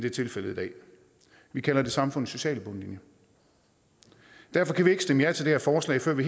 er tilfældet i dag vi kalder det samfundets sociale bundlinje derfor kan vi ikke stemme ja til det her forslag før vi